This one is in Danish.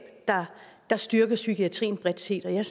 der styrker psykiatrien bredt set og jeg